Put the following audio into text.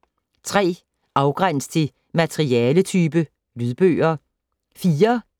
3. Afgræns til materialetype: lydbøger